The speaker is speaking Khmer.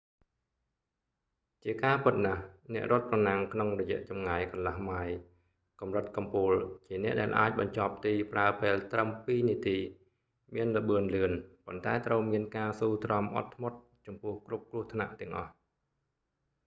ជាការពិតណាស់ អ្នករត់ប្រណាំងក្នុងរយៈចម្ងាយកន្លះម៉ាយល៍កម្រិតកំពូល ជាអ្នកដែលអាចបញ្ចប់ទីប្រើពេលត្រឹមពីរនាទី មានល្បឿនលឿន ប៉ុន្តែត្រូវមានការស៊ូទ្រាំអត់ធ្មត់ចំពោះគ្រប់គ្រោះថ្នាក់ទាំងអស់